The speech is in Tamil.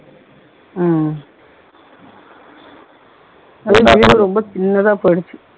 ஏய் வீடு ரொம்ப சின்னதா போயிருச்சு